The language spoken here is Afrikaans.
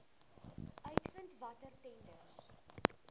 uitvind watter tenders